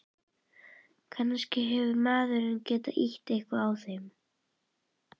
Kannski hefur maðurinn getað ýtt eitthvað við þeim.